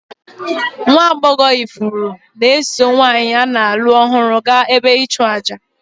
Nwa agbọghọ ifuru na-eso nwanyị a na-alụ ọhụrụ gaa ebe ịchụàjà.